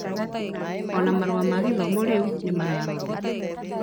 Ona marũa ma gĩthomo rĩu nĩmararorwo